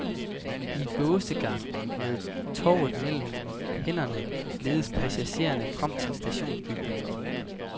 I gåsegang, med tovet mellem hænderne, ledes passagererne frem til stationsbygningen.